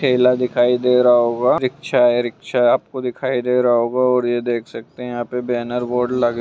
ढेला दिखाई दे रहा होगा रिक्शा हैरिक्शा आपको दिखाई दे रहा होगा देख सकते हैं यहाँ पे बैनर बोर्ड लगे--